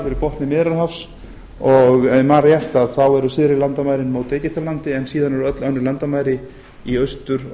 botni miðjarðarhafs ef ég man rétt þá eru syðri landamærin móti egyptalandi en síðan eru öll önnur landamæri í austur og